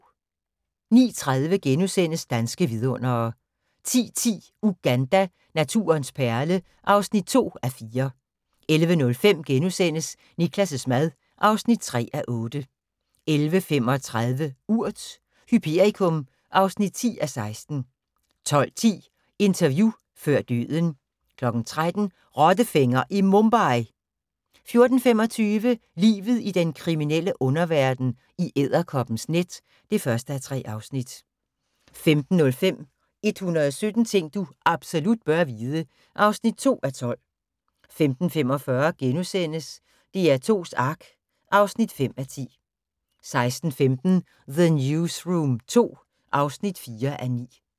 09:30: Danske Vidundere * 10:10: Uganda – naturens perle (2:4) 11:05: Niklas' mad (3:8)* 11:35: Urt: Hyperikum (10:16) 12:10: Interview før døden 13:00: Rottefænger i Mumbai! 14:25: Livet i den kriminelle underverden – I edderkoppens net (1:3) 15:05: 117 ting du absolut bør vide (2:12) 15:45: DR2s Ark (5:10)* 16:15: The Newsroom II (4:9)